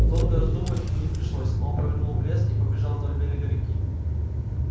долго раздумывать ему не пришлось он повернул в лес и побежал вдоль берега реки